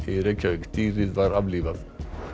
í Reykjavík dýrið var aflífað